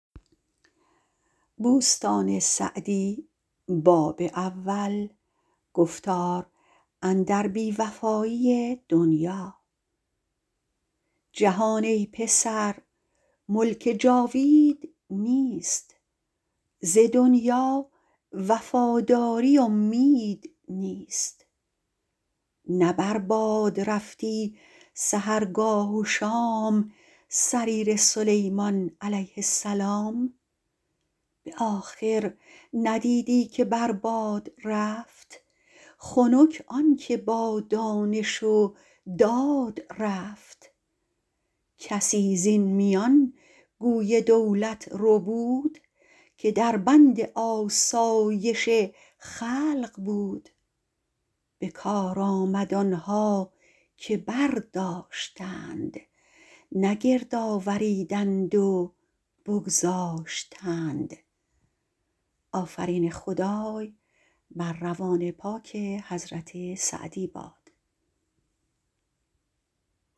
جهان ای پسر ملک جاوید نیست ز دنیا وفاداری امید نیست نه بر باد رفتی سحرگاه و شام سریر سلیمان علیه السلام به آخر ندیدی که بر باد رفت خنک آن که با دانش و داد رفت کسی زین میان گوی دولت ربود که در بند آسایش خلق بود به کار آمد آنها که برداشتند نه گرد آوریدند و بگذاشتند